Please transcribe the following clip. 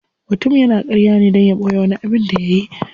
Mutum yana karya ne dan ya boye wani abin da yayi.